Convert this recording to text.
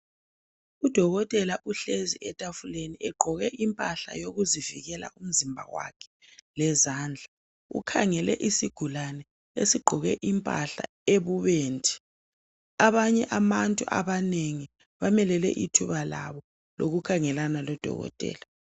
Udokotela uhlezi etafuleni egqoke impahla yokuzivikela umzimba wakhe lezandla ukhangele isigulani esigqoke impahla ebubendi abantu abanye abanengi bamelele ithuba labo lokukhangelana lodokotela